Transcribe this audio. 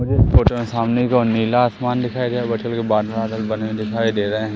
मुझे इस फोटो में सामने की ओर नीला आसमान दिखाई दे रहा हैं। बहोत सारे बादल वादल बने दिखाई दे रहे है।